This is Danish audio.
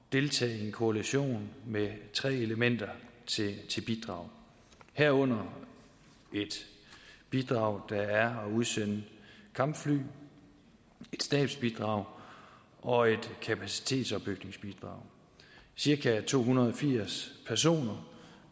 deltage i en koalition med tre elementer til bidrag herunder et bidrag der er at udsende kampfly et stabsbidrag og et kapacitetsopbygningsbidrag cirka to hundrede og firs personer